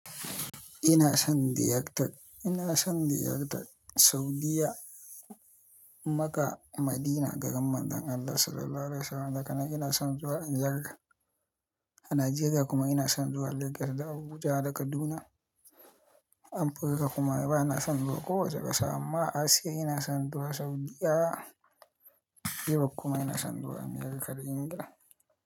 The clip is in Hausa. Ina son ziyartar. Ina son ziyartar, Saudiya, Makkah, Madina, garin Manzon Allah Sallallahu Alaihi Wasallam. Daga nan ina son zuwa Amerika a Najeriya kuma ina son zuwa Lagos da Abuja da Kaduna. Afirika kuma bana son zuwa kowace ƙasa amma a Asiya ina son zuwa Saudiya. Europe kuma ina son zuwa America da England.